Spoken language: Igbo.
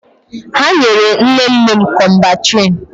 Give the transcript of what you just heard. Ha nyere nne nne m Kọmbantriṅ.